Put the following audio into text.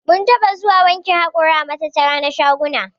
Mun taɓa zuwa wankin haƙora a matattara na shaguna.